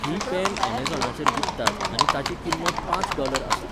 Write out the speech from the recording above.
ही pen ऍमेझॉनाचेर विकतात आनी ताची किंमत पांच डॉलर आसा.